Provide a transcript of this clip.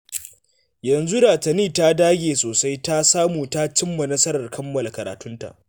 Yanzu da Tani ta dage sosai ta samu ta cimma nasarar kammala karatu